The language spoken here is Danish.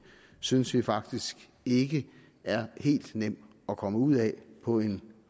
synes vi faktisk ikke er helt nem at komme ud af på en